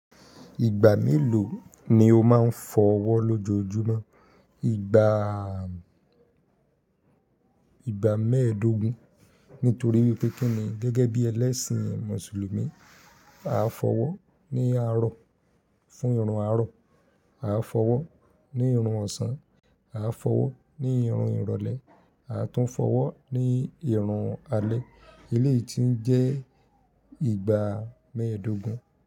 Ìgbà mélòó ni o máa ń fọwọ́ lójoojúmọ́? Ìgbà, ìgbà mẹ́ẹ̀ẹ́dógún. Nítorí pé kíni gẹ́gẹ́ bí ẹlẹ́sìn Mùsùlùmí, a fọwọ́ ní àárọ̀ fún irun àárọ̀, a fọwọ́ ní irun ọ̀sán, a fọwọ́ ní irun ìrọ̀lẹ́, a tún fọwọ́ ní irun alẹ́. Eléyìí tí ń jẹ́ ìgbà mẹ́ẹ̀ẹ́dógún.